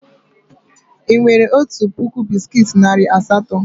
Ị nwere otu puku bisikiiti narị asatọ?